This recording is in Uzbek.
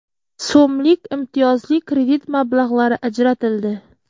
so‘mlik imtiyozli kredit mablag‘lari ajratildi.